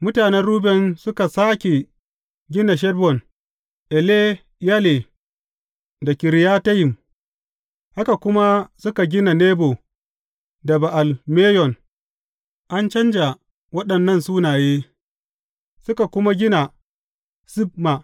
Mutanen Ruben suka sāke gina Heshbon, Eleyale, da Kiriyatayim, haka kuma suka gina Nebo da Ba’al Meyon an canja waɗannan sunaye suka kuma gina Sibma.